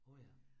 Åh ja